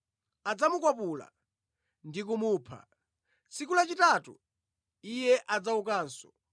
adzamukwapula ndi kumupha. Tsiku lachitatu Iye adzaukanso.”